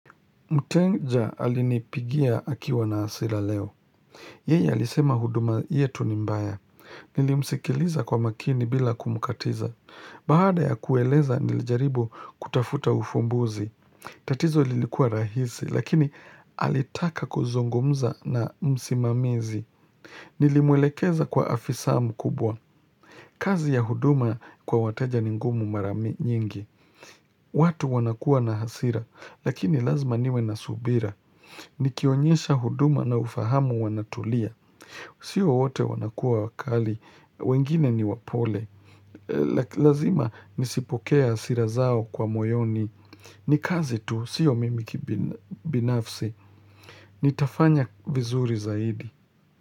Mteja alinipigia akiwa na hasira leo. Yeye alisema huduma yetu ni mbaya. Nilimsikiliza kwa makini bila kumukatiza. Baada ya kueleza nilijaribu kutafuta ufumbuzi. Tatizo lilikua rahisi lakini alitaka kuzungumza na msimamizi. Nilimwelekeza kwa afisa mkubwa. Kazi ya huduma kwa wateja ni ngumu mara nyingi. Watu wanakuwa na hasira lakini lazima niwe na subira. Nikionyesha huduma na ufahamu wanatulia Sio wote wanakuwa wakali wengine ni wapole Lazima nisipokee hasira zao kwa moyoni ni kazi tu, sio mimi kibinafsi Nitafanya vizuri zaidi.